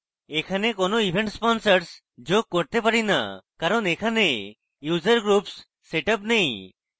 এখন কোনো event sponsors যোগ করতে পারি now কারণ এখানে user groups set up now